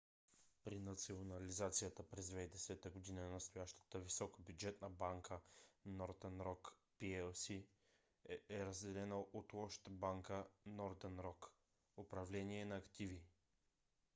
при национализацията през 2010 г. настоящата високобюджетна банка northern rock plc е разделена от лошата банка northern rock управление на активи